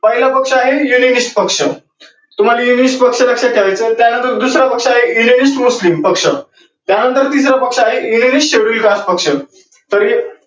पाहिलं पक्ष आहे पक्ष दुसरं पक्ष आहे पक्ष त्या नंतर तिसर पक्ष आहे तर ही